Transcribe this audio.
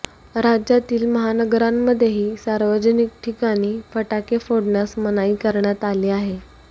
राज्यातील महानगरांमध्येही सार्वजनिक ठिकाणी फटाके फोडण्यास मनाई करण्यात आली आहे